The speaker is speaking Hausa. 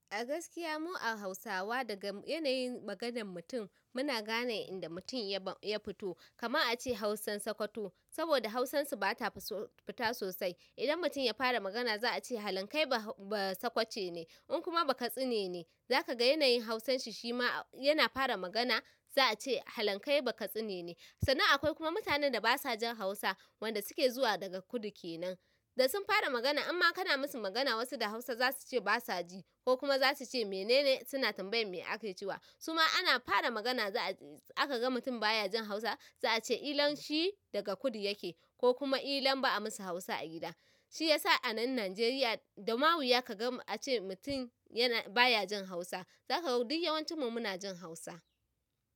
A gaskiya mu a Hausawa daga yanayin maganan mutum muna gane inda mutum ya fito. Kama an ce Hausan Sakwato saboda Hausan su ba ta fita sosai. Idan mutum ya fara magana za a ce halan kai ba sakwace ne in kuma bakatsine ne zaka ga yanayin Hausan shi shi ma yana fara magana za a ce halan kai bakatsine ne. Sannan akwai kuma mutanen da ba sa jin Hausa wanda suke zuwa daga kudu kenan da sun fara magana inma kana musu magana wasu da Hausa za su ce ba su ji ko kuma za su ce mene ne suna tambayan me ake cewa. Su ma ana fara magana za a ce aka ga mutum baya jin Hausa za a ce kilan shi daga kudu yake ko kuma kilan ba a masa Hausa a gida. Shi yasa a nan Najeriya da mawuya ka ga an ce mutum yana baya jin Hausa. Zaka ga duk yawancin mu muna jin Hausa.